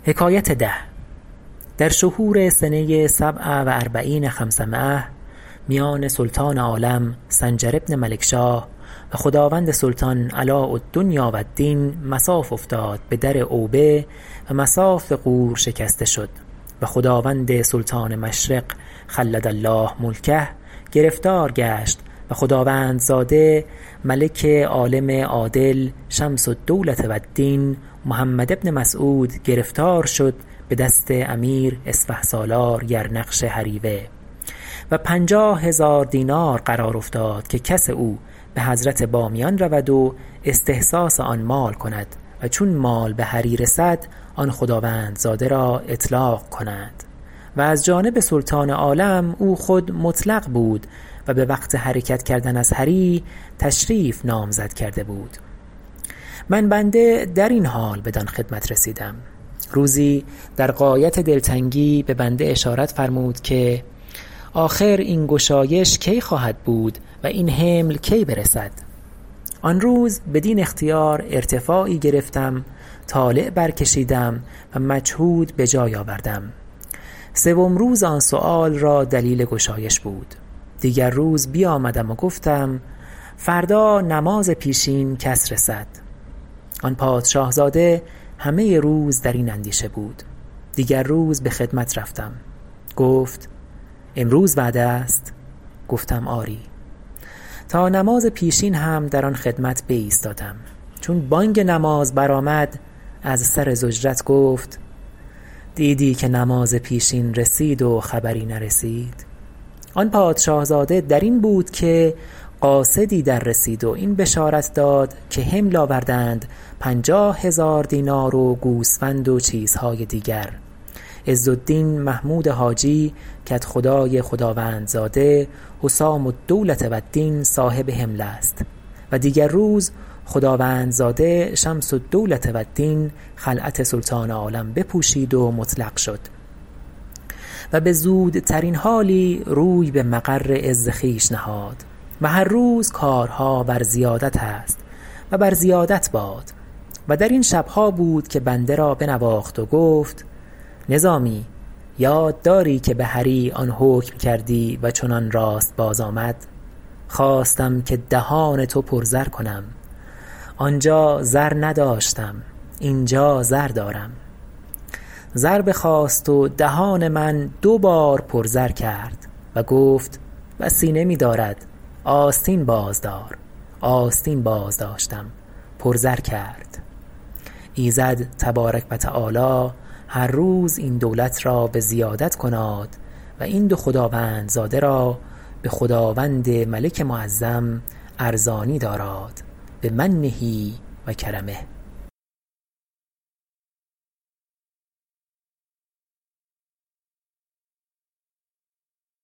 در شهور سنه سبع و اربعین خمسمایة میان سلطان عالم سنجر بن ملکشاه و خداوند سلطان علاء الدنیا و الدین مصاف افتاد به در اوبه و مصاف غور شکسته شد و خداوند سلطان مشرق خلد الله ملکه گرفتار گشت و خداوندزاده ملک عالم عادل شمس الدولة و الدین محمد بن مسعود گرفتار شد به دست امیر اسفهسالار یرنقش هریوه و پنجاه هزار دینار قرار افتاد که کس او به حضرت بامیان رود و استحثاث آن مال کند و چون مال به هری رسد آن خداوندزاده را اطلاق کنند و از جانب سلطان عالم او خود مطلق بود و به وقت حرکت کردن از هری تشریف نامزد کرده بود من بنده در این حال بدان خدمت رسیدم روزی در غایت دلتنگی به بنده اشارت فرمود که آخر این گشایش کی خواهد بود و این حمل کی برسد آن روز بدین اختیار ارتفاعی گرفتم طالع برکشیدم و مجهود بجای آوردم سوم روز آن سؤال را دلیل گشایش بود دیگر روز بیامدم و گفتم فردا نماز پیشین کس رسد آن پادشاه زاده همه روز در این اندیشه بود دیگر روز به خدمت رفتم گفت امروز وعده است گفتم آری تا نماز پیشین هم در آن خدمت بایستادم چون بانگ نماز برآمد از سر ضجرت گفت دیدی که نماز پیشین رسید و خبری نرسید آن پادشاه زاده در این بود که قاصدی در رسید و این بشارت داد که حمل آوردند پنجاه هزار دینار و گوسفند و چیزهای دیگر عز الدین محمود حاجی کدخدای خداوند زاده حسام الدولة والدین صاحب حمل است و دیگر روز خداوندزاده شمس الدولة و الدین خلعت سلطان عالم بپوشید و مطلق شد و به زودترین حالی روی به مقر عز خویش نهاد و هر روز کارها بر زیادت است و بر زیادت باد و در این شبها بود که بنده را بنواخت و گفت نظامی یاد داری که به هری آن حکم کردی و چنان راست باز آمد خواستم که دهان تو پر زر کنم آنجا زر نداشتم اینجا زر دارم زر بخواست و دهان من دو بار پر زر کرد و گفت بسی نمی دارد استین باز دار آستین بازداشتم پر زر کرد ایزد تبارک و تعالی هر روز این دولت را بزیادت کناد و این دو خداوندزاده را به خداوند ملک معظم ارزانی داراد بمنه و کرمه